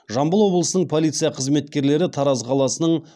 жамбыл облысының полиция қызметкерлері тараз қаласының